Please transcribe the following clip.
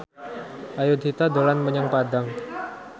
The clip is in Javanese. Ayudhita dolan menyang Padang